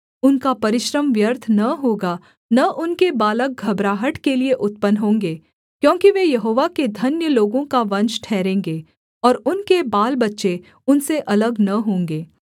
उनका परिश्रम व्यर्थ न होगा न उनके बालक घबराहट के लिये उत्पन्न होंगे क्योंकि वे यहोवा के धन्य लोगों का वंश ठहरेंगे और उनके बालबच्चे उनसे अलग न होंगे